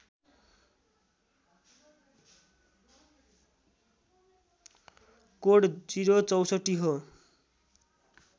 code ०६४ हो